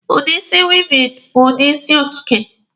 Udi isi wịịvịn bụ udi isi okike.